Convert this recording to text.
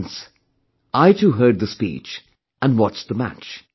Hence I too heard the speech and watched the match